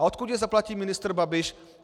A odkud je zaplatí ministr Babiš?